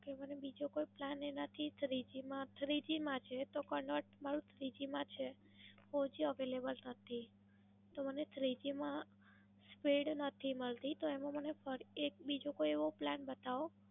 કે મને બીજો કોઈ Plan એનાથી Three G માં Three G માં છે, તો મારું Three G માં છે, Three G નથી. તો મને Three G માં Speed નથી મળતી, તો એમાં મને એક બીજો કોઈ Plan બતાવો.